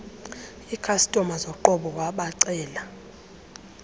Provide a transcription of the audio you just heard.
ikhastoma zoqobo wabacela